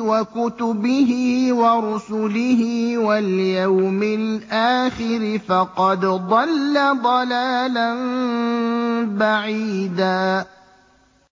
وَكُتُبِهِ وَرُسُلِهِ وَالْيَوْمِ الْآخِرِ فَقَدْ ضَلَّ ضَلَالًا بَعِيدًا